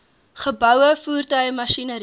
geboue voertuie masjinerie